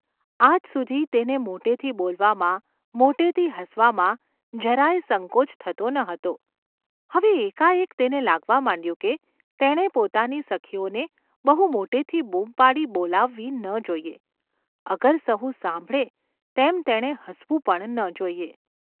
આજ સુધી તેને મોટેથી બોલવામાં, મોટેથી હસવામાં જરા યે સંકોચ થતો ન હતો; હવે એકાએક તેને લાગવા માંડ્યું કે તેણે પોતાની સખીઓને બહુ મોટેથી બૂમ પાડી બોલાવવી ન જોઈએ, અગર સહુ સાંભળે તેમ તેણે હસવું પણ ન જોઈએ.